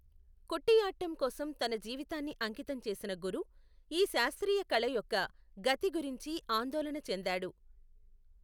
కుటియాట్టం కోసం తన జీవితాన్ని అంకితం చేసిన గురు, ఈ శాస్త్రీయ కళ యొక్క గతి గురించి ఆందోళన చెందాడు.